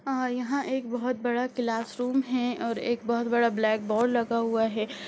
और यहाँ एक बहुत बड़ा क्लासरूम हें और एक बहुत बड़ा ब्लैकबोर्ड लगा हुआ है।